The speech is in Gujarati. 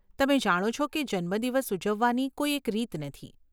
તમે જાણો છો કે જન્મદિવસ ઉજવવાની કોઈ એક રીત નથી.